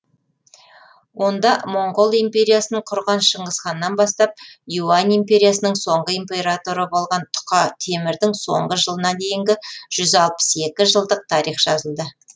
онда моңғол империясының құрған шыңғысханнан бастап юань империясының соңғы императоры болған тұқа темірдің соңғы жылына дейінгі жылдық тарих жазылды